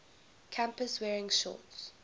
campus wearing shorts